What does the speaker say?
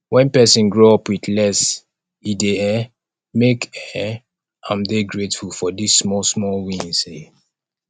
when person grow up with less e dey um make um am dey grateful for di small small wins um